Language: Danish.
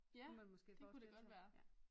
Ja det kunne det godt være